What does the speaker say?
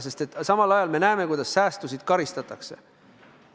Seda samal ajal, kui me näeme, kuidas säästjaid karistatakse.